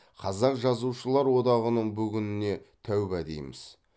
қазақ жазушылар одағының бүгініне тәуба дейміз